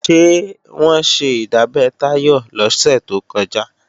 Ṣé wọ́n ṣe ìdábẹ́ Táyọ̀ lọ́sẹ̀ tó kọjá?